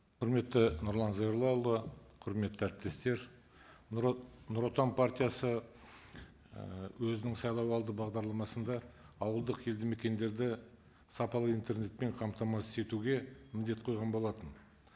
құрметті нұрлан зайроллаұлы құрметті әріптестер нұротан партиясы ііі өзінің сайлауалды бағдарламасында ауылдық елді мекендерді сапалы интернетпен қамтамасыз етуге міндет қойған болатын